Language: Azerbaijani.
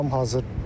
Tam hazırdır.